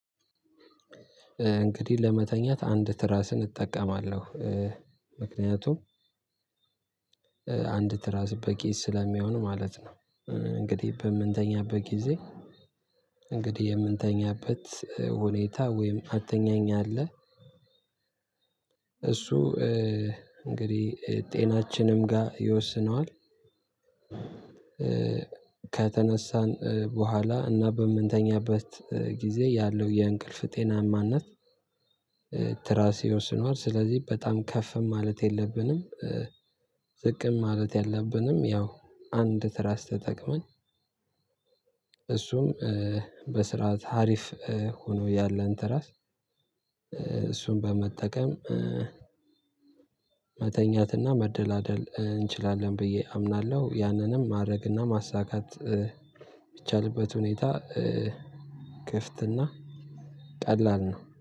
እንግዲህ ለመተኛት አንድ ትራስን እጠቀማለሁ ምክንያቱም አንድ ትራስ በቂ ስለሚሆን ማለት ነው። እንግዲህ በምንተኛበት ጊዜ እንግዲህ የምንተኛበት ሁኔታ ወይም አትኛኝ አለ እሱ እንግዲህ ጤናችንም ጋር ይወስነዋል። ከተነሳን በኋላ እና በምንተኛበት ጊዜ ያለው የእንቅልፍ ጤናማነት። ትራርስ ይወስነዋል ስለዚህ በጣም ከፍም ማለት የለብንም። ዝቅም ማለት ያለብንም ያው አንድ ትራስ ተጠቅመን እሱም በስርዓት ሀሪፍ ሆኖ ያለን ተራስ እሱን በመጠቀም። መተኛትና መደላደል እንችላለን ብዬ አምናለሁ። ያንንም ማድረግና ማሳካት የሚቻልበት ሁኔታ ክፍትና ቀላል ነው